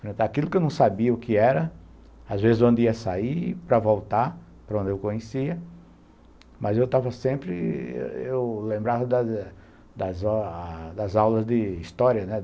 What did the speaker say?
Enfrentar aquilo que eu não sabia o que era, às vezes onde ia sair, para voltar para onde eu conhecia, mas eu estava sempre... eu lembrava das aulas de história, né?